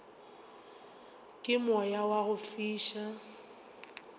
ke moya wa go fiša